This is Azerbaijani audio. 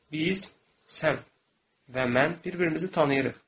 Biz, sən və mən bir-birimizi tanıyırıq.